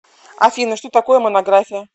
афина что такое монография